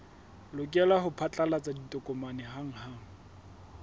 lokela ho phatlalatsa ditokomane hanghang